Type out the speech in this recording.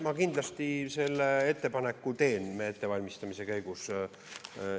Ma kindlasti selle ettepaneku teen ettevalmistamise käigus.